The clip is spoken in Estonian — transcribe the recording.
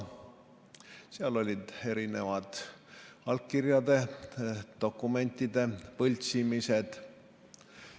Seal oli tegemist eri allkirjade, dokumentide võltsimisega.